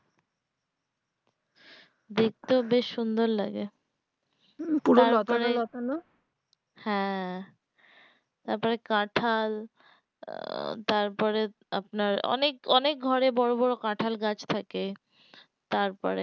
দেখতেও বেশ সুন্দর লাগে হু পুরো লতানো লতানো তারপরে হ্যাঁ তাপরে কাঁঠাল তারপরে আপনার অনেক অনেক ঘরে বড়ো বড়ো কাঁঠাল গাছ থাকে তারপরে